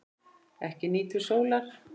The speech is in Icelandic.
Ekki nýtur sólar.